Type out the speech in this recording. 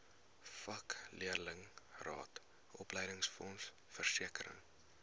vakleerlingraad opleidingsfonds versekering